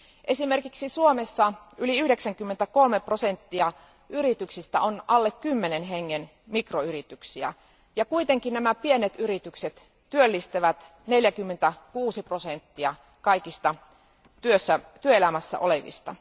Esimerkiksi Suomessa yli 93 prosenttia yrityksistä on alle kymmenen hengen mikroyrityksiä, ja kuitenkin nämä pienet yritykset työllistävät 46 prosenttia kaikista työelämässä olevista.